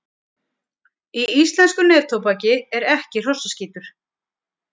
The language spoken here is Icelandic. Í íslensku neftóbaki er ekki hrossaskítur.